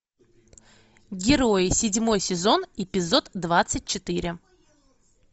герои седьмой сезон эпизод двадцать четыре